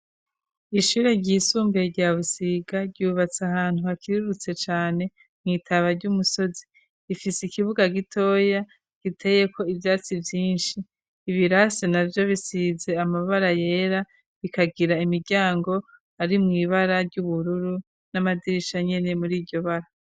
ishure ryisumbuye rya Busiga ryubatse ahantu hakirurutse cane mu itaba ry'umusozi, rifise ikibuga gitoya giteyeko ivyatsi vyinshi, ibirasi navyo bisize amabara yera bikagira imiryango ari mu ibara ry'ubururu n'amadirisha nyene muri iryo bara.